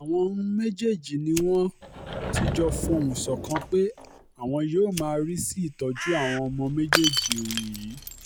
àwọn um méjèèjì ni wọ́n ti jọ fohùn ṣọ̀kan pé àwọn yóò má rí sí ìtọ́jú àwọn ọmọ méjèèjì um yìí